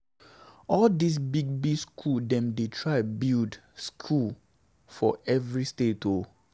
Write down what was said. All dis big big church dem dey try build skool for every state o.